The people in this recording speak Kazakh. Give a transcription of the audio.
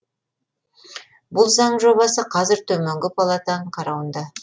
бұл заң жобасы қазір төменгі палатаның қарауында